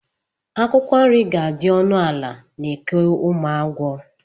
Akwụkwọ nri ga-adị ọnụ ala na Eke Ụmụagwọ.